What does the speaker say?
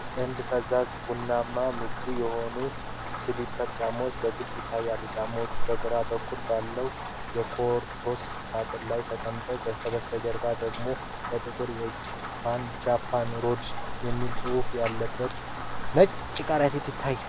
ጥንድ ፈዛዛ ቡናማ፣ ምቹ የሆኑ ስሊፐር ጫማዎች በግልጽ ይታያሉ። ጫማዎቹ በግራ በኩል ባለው የካርቶን ሳጥን ላይ ተቀምጠዋል። ከበስተጀርባው ደግሞ በጥቁር የእጅ ጽሑፍ "Japan orderstore" የሚል ጽሑፍ ያለበት ነጭ ከረጢት ይታያል።